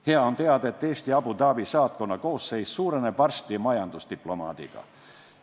Hea on teada, et Eesti Abu Dhabi saatkonna koosseis suureneb varsti majandusdiplomaadi võrra.